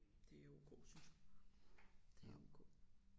Det O K synes jeg det O K